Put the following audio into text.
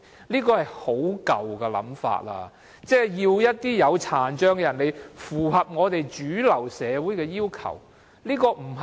這是很舊的想法，是要求殘障人士來符合主流社會的要求。